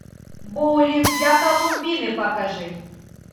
боулинг для колумбины покажи